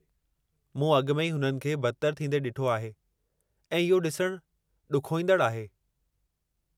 मूं अॻु में ई हुननि खे बदतरि थींदे ॾिठो आहे, ऐं इहो ॾिसणु ॾुखोईंदड़ु आहे।